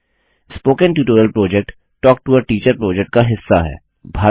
spoken tutorial project talk to a teacher project का हिस्सा है